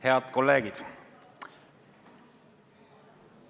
Head kolleegid!